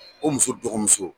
O muso dɔgɔmuso